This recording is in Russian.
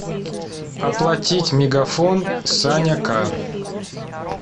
оплатить мегафон саня к